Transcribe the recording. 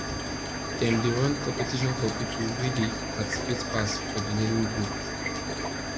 dem dey run competition for people wey dey participate pass for the learning group